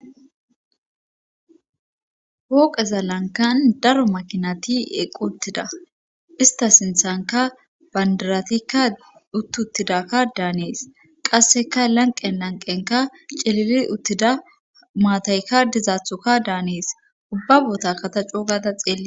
Pooqeza lankan daro makinati eqqu uttida ista sinthanka bandaratikka uttuttidakka daanees qasseka lanqen lanqenka celili uttida maatayka dizaathuka daanees ubba boota kata coo gada xeelli